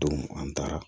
Don an taara